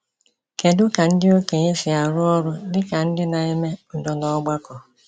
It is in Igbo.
Kedu ka ndị okenye si arụ ọrụ dị ka ndị na-eme udo n’ọgbakọ?